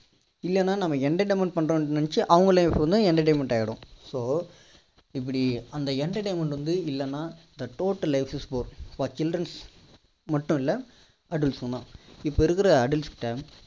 இல்லனா நம்ம entertainment பண்றோம்னு நினைச்சி அவங்க life வந்து entertainment ஆகிடும் so இப்படி அந்த entertainment வந்து இல்லன்னா the total life is bore for chindrens க்கு மட்டும் இல்லை adults க்கும் தான் இப்போ இருக்கிற adults ட